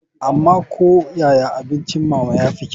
Amma ko yaya abincin mama ya fi kyau.